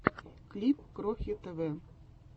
клип крохи тв